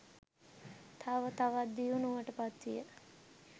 තව තවත් දියුණුවට පත්විය.